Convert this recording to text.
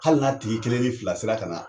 Hali n'a tigi kelen ni fila sera ka na